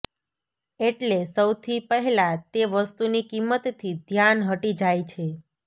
એટલે સૌથી પહેલાં તે વસ્તુની કિંમતથી ધ્યાન હટી જાય છે